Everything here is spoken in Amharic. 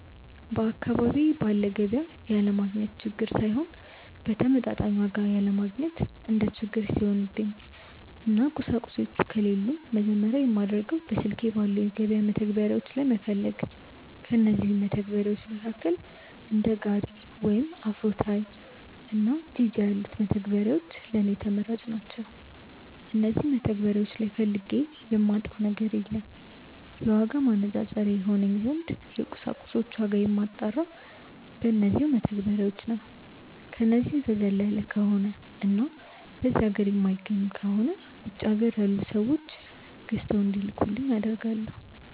በአካባቢዬ ባለ ገቢያ ያለማግኘት ችግር ሳይሆን በተመጣጣኝ ዋጋ ያለማግኘት እንደ ችግር ሲሆንብኝ እና ቁሳቁሶቹ ከሌሉም መጀመርያ የማደርገው በስልኬ ባሉ የገበያ መተግበሪያዎች ላይ መፈለግ ነው። ከእነዚህም መተግበርያዎች መካከል እንደ ጋሪ ወይም አፍሮታይ እና ጂጂ ያሉት መተግበሪያዎች ለኔ ተመራጭ ናቸዉ። እነዚህ መተግበሪያዎች ላይ ፈልጌ የማጣው ነገር የለም። ለዋጋ ማነፃፀሪያ ይሆነኝ ዘንድ የቁሳቁሶችን ዋጋ የማጣራው በነዚው መተግበሪያዎች ነው። ከነዚህ በዘለለ ከሆነ እና በዚህ ሀገር የማይገኙ ከሆነ ውጪ ሀገር ያሉ ሰዎች ገዝተው እንዲልኩልኝ አደርጋለው።